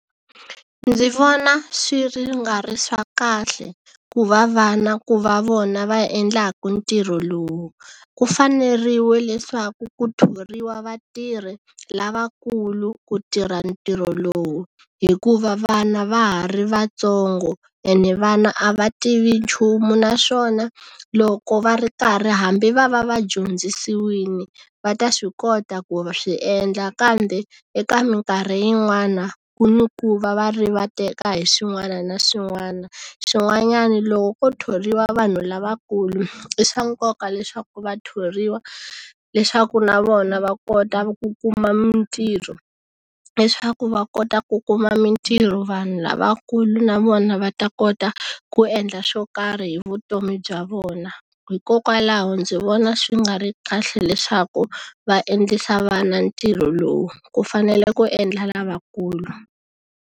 Ndzi vona swi ri nga ri swa kahle ku va vana ku va vona va endlaku ntirho lowu ku faneriwe leswaku ku thoriwa vatirhi lavakulu ku tirha ntirho lowu hikuva vana va ha ri vatsongo ene vana a va tivi nchumu naswona loko va ri karhi hambi va va va dyondzisiwini va ta swi kota ku swi endla kambe eka mikarhi yin'wana ku ni ku va va rivateka hi swin'wana na swin'wana swin'wanyani loko ko tholiwa vanhu lavakulu i swa nkoka leswaku va thoriwa leswaku na vona va kota ku kuma mitirho leswaku va kota ku kuma mitirho vanhu lavakulu na vona va ta kota ku endla swo karhi hi vutomi bya vona hikokwalaho ndzi vona swi nga ri kahle leswaku va endlisa vana ntirho lowu ku fanele ku endla lavakulu.